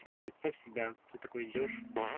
теперь представь себя что ты такой идёшь